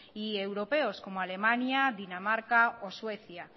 y europeos como alemania dinamarca o suecia